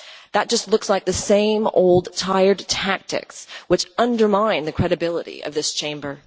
That just looks like the same old tired tactics, which undermine the credibility of this Chamber.